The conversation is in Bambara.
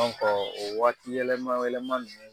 o waati yɛlɛma yɛlɛma nunnu